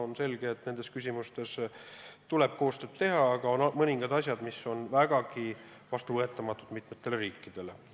On selge, et nendes küsimustes tuleb koostööd teha, aga on mõningad asjad, mis on vägagi vastuvõetamatud mitmele riigile.